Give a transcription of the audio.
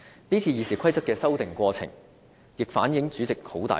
這次《議事規則》的修訂過程，也反映主席的權力相當大。